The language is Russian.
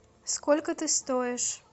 сколько ты стоишь